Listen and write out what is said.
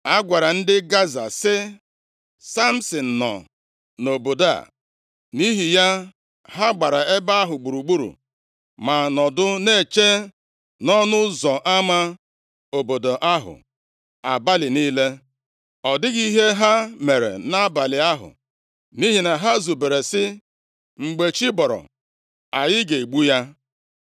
A gwara ndị Gaza sị, “Samsin nọ nʼobodo a.” Nʼihi ya, ha gbara ebe ahụ gburugburu ma nọdụ na-eche nʼọnụ ụzọ ama obodo ahụ abalị niile. Ọ dịghị ihe ha mere nʼabalị ahụ nʼihi na ha zubere sị, “Mgbe chi bọrọ, anyị ga-egbu ya.”